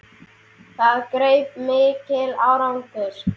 Það greip mikil angist.